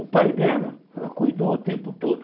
O pai dela, ela cuidou o tempo todo.